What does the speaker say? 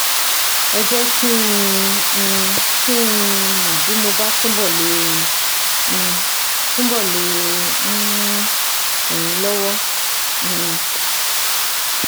Ẹ jẹ́ um kí n mọ̀ bí mo bá túbọ̀ le um túbọ̀ le um ràn yín lọ́wọ́ um